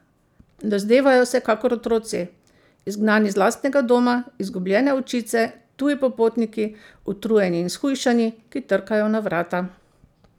Dozdevajo se kakor otroci, izgnani z lastnega doma, izgubljene ovčice, tuji popotniki, utrujeni in shujšani, ki trkajo na vrata.